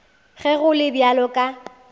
ge go le bjalo ka